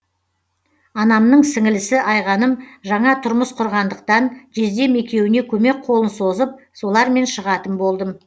анамның сіңілісі айғаным жаңа тұрмыс құрғандықтан жездем екеуіне көмек қолын созып солармен шығатын болдым